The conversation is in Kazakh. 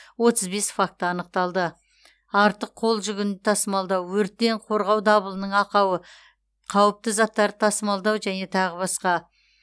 отыз бес факті анықталды артық қол жүгін тасымалдау өрттен қорғау дабылының ақауы қауіпті заттарды тасымалдау және тағы басқа